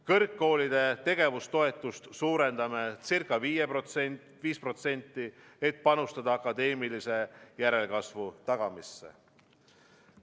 Kõrgkoolide tegevustoetust, suurendame ca 5%, et panustada akadeemilise järelkasvu tagamisse.